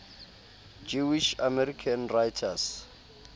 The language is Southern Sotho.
jewish american writers